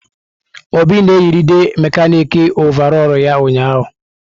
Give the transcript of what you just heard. Obi na-eyịride mekanịkị ọvarọọr ya ụnyahụ.